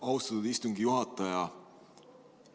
Austatud istungi juhataja!